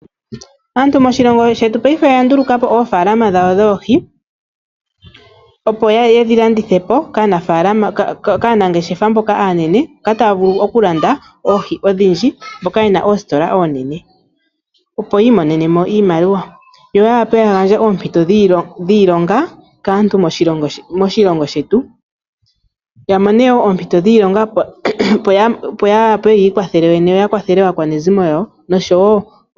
Aantu moshilongo shetu oya ndulukapo oofalqmq dhawo dhoohi, opo yedhi landithepo kaanangeshefa mboka yena oongeshefa oonene ya vule okumona iimaliwa yo yamone ooomputo dhiilonga dhawo yene nokugandja kuyalwe.